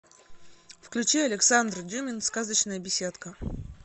включи александр дюмин сказочная беседка